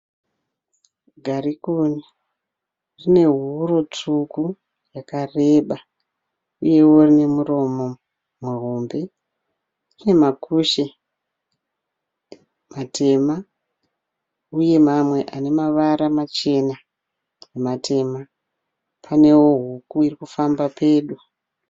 Garikuni rinehuro tsvuku rakareba. Uyewo rune muromo muhombe. Rine makushe matema uye mamwe anemavara machena nematema. Pane huku irikufamba pedo.